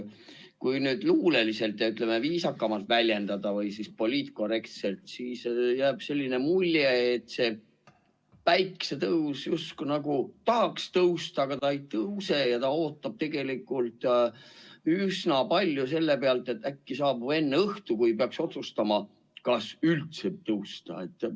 Kui nüüd luuleliselt ja, ütleme, viisakamalt väljenduda või poliitkorrektselt, siis jääb selline mulje, et päike justkui tahaks tõusta, aga ta ei tõuse ja ootab tegelikult, et äkki saabub enne õhtu, kui peaks otsustama, kas üldse tõusta.